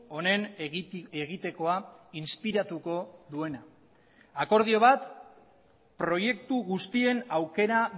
honen egitekoa inspiratuko duena akordio bat proiektu guztien aukera